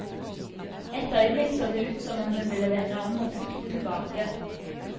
Et øyeblikk så det ut som om hun ville vende om og flykte tilbake.